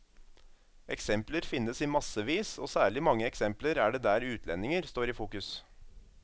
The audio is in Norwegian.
Eksempler finnes i massevis og særlig mange eksempler er det der utlendinger står i fokus.